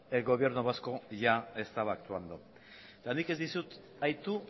el gobierno vasco ya estaba actuando eta nik ez dizut aitu